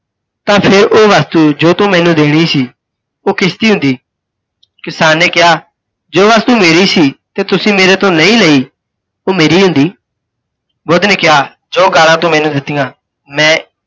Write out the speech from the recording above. ਤਾਂ ਫਿਰ ਓਹ ਵਸਤੂ ਜੋ ਤੂੰ ਮੈਨੂੰ ਦੇਣੀ ਸੀ, ਓਹ ਕਿਸ ਦੀ ਹੁੰਦੀ? ਕਿਸਾਨ ਨੇ ਕਿਹਾ, ਜੋ ਵਸਤੂ ਮੇਰੀ ਸੀ ਤੇ ਤੁਸੀਂ ਮੇਰੇ ਤੋਂ ਨਹੀਂ ਲਈ ਓਹ ਮੇਰੀ ਹੁੰਦੀ। ਬੁੱਧ ਨੇ ਕਿਹਾ, ਜੋ ਗਾਲਾਂ ਤੂੰ ਮੈਨੂੰ ਦਿੱਤੀਆਂ, ਮੈਂ